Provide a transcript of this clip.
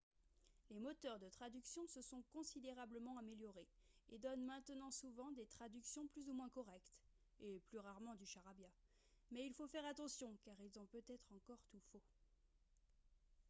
les moteurs de traduction se sont considérablement améliorés et donnent maintenant souvent des traductions plus ou moins correctes et plus rarement du charabia mais il faut faire attention car ils ont peut-être encore tout faux